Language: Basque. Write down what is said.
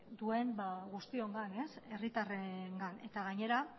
duen guztiongan herritarrengan eta gainera